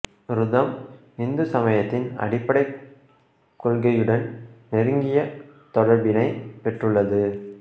ருதம் இந்து சமயத்தின் அடிப்படைக் கொள்கையுடன் நெருங்கிய தொடர்பினைப் பெற்றுள்ளது